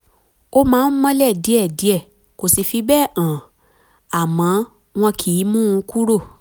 ó máa ń mọ́lẹ̀ díẹ̀díẹ̀ kò sì fi bẹ́ẹ̀ hàn àmọ́ wọn kìí mú un kúrò